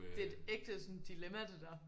Det et ægte sådan dilemma det der